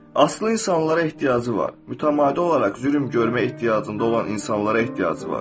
Aslı insanlara ehtiyacı var, mütəmadi olaraq zülm görməyə ehtiyacında olan insanlara ehtiyacı var.